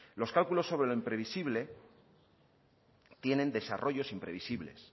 los cálculos sobre lo imprevisible tienen desarrollos imprevisibles